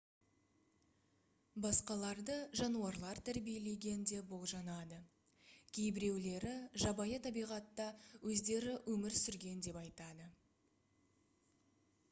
басқаларды жануарлар тәрбиелеген деп болжанады кейбіреулері жабайы табиғатта өздері өмір сүрген деп айтады